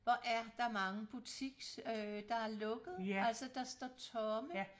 Hvor er der mange butiks øh der er lukket altså der står tomme